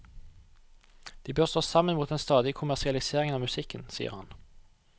De bør stå sammen mot den stadige kommersialiseringen av musikken, sier han.